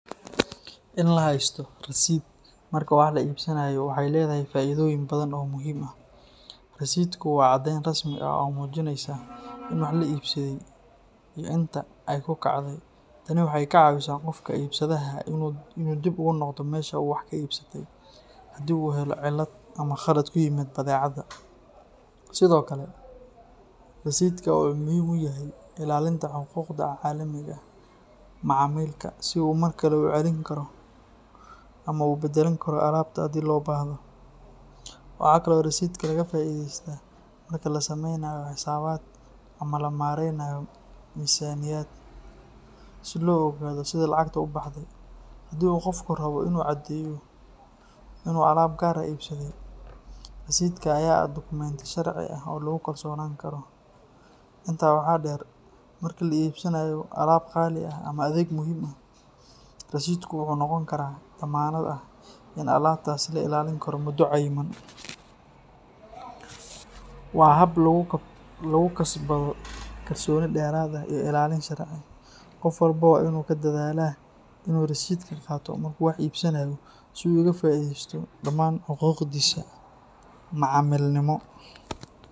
In la haysto rasiidh marka wax la iibsanayo waxay leedahay faa’iidooyin badan oo muhiim ah. Rasiidhku waa caddeyn rasmi ah oo muujinaysa in wax la iibsaday iyo inta ay ku kacday. Tani waxay ka caawisaa qofka iibsadaha ah in uu dib ugu noqdo meesha uu wax ka iibsatay haddii uu helo cillad ama khalad ku yimid badeecadda. Sidoo kale, rasiidhka wuxuu muhiim u yahay ilaalinta xuquuqda macaamilka, si uu markale u celin karo ama u beddelan karo alaabta haddii loo baahdo. Waxaa kale oo rasiidhka laga faa’iidaystaa marka la samaynayo xisaabaad ama la maaraynayo miisaaniyad, si loo ogaado sida lacagtu u baxday. Haddii uu qofku rabo in uu caddeeyo in uu alaab gaar ah iibsaday, rasiidhka ayaa ah dukumiinti sharci ah oo lagu kalsoonaan karo. Intaa waxaa dheer, marka la iibsanayo alaab qaali ah ama adeeg muhiim ah, rasiidhku wuxuu noqon karaa dammaanad ah in alaabtaas la ilaalin karo muddo cayiman. Waa hab lagu kasbado kalsooni dheeraad ah iyo ilaalin sharci ah. Qof walba waa in uu ku dadaalaa in uu rasiidhka qaato marka uu wax iibsanayo si uu uga faa’iidaysto dhammaan xuquuqdiisa macaamilnimo.